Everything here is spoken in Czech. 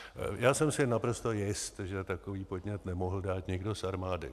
Já jsem si naprosto jist, že takový podnět nemohl dát nikdo z armády.